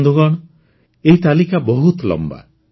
ବନ୍ଧୁଗଣ ଏହି ତାଲିକା ବହୁତ ଲମ୍ବା